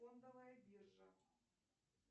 фондовая биржа